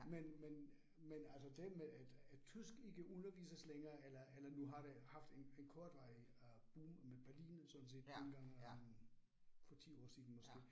Men men men altså det med at at tysk ikke undervises længere eller eller nu har det haft en en kortvarig øh boom med Berlin sådan set dengang øh for 10 år siden måske